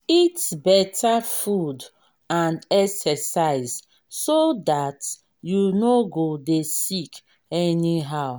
eat better food and exercise so dat you no go dey sick anyhow